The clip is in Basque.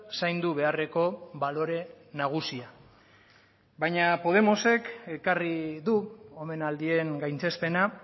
zaindu beharreko balore nagusia baina podemosek ekarri du omenaldien gaitzespena